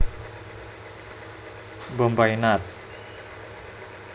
Bombay Nat